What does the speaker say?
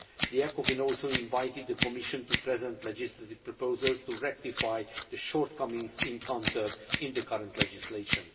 The ECOFIN also invited the Commission to present legislative proposals to rectify the shortcomings encountered in the current legislation.